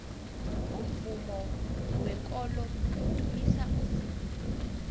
umvumo wekolo udumisa uzimu